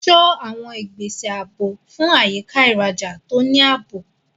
Ṣọ́ àwọn ìgbésẹ̀ ààbò fún àyíká ìrajà tó ní ààbò.